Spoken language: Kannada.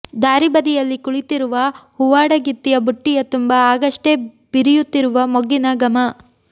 ದಾರಿಬದಿಯಲ್ಲಿ ಕುಳಿತಿರುವ ಹೂವಾಡಗಿತ್ತಿಯ ಬುಟ್ಟಿಯ ತುಂಬ ಆಗಷ್ಟೇ ಬಿರಿಯುತ್ತಿರುವ ಮೊಗ್ಗಿನ ಘಮ